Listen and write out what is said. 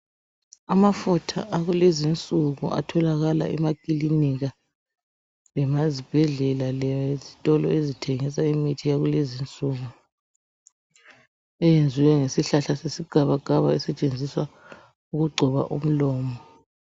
Amafutha akulezi insuku atholakala emakilinika lemazibhedlela lezitolo ezithengisa imithi yakulezi insuku. Eyenziwe ngesihlahla segabagaba esetshenziswa ukugcoba umlomo.